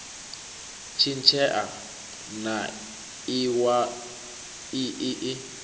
tshintshea na iwalo ii i